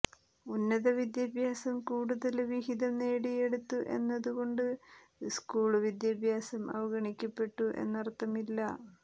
ഉന്നതവിദ്യാഭ്യാസം കൂടുതല് വിഹിതം നേടിയെടുത്തു എന്നതുകൊണ്ട് സ്കൂള് വിദ്യാഭ്യാസം അവഗണിക്കപ്പെട്ടു എന്നര്ത്ഥമില്ല